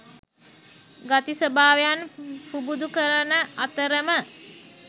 ගති ස්වභාවයන් පුබුදු කරන අතරම